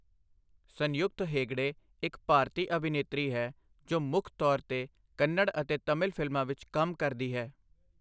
ਸੰਯੁਕਤ ਹੇਗੜੇ ਇੱਕ ਭਾਰਤੀ ਅਭਿਨੇਤਰੀ ਹੈ ਜੋ ਮੁੱਖ ਤੌਰ 'ਤੇ ਕੰਨੜ ਅਤੇ ਤਾਮਿਲ ਫਿਲਮਾਂ ਵਿੱਚ ਕੰਮ ਕਰਦੀ ਹੈ।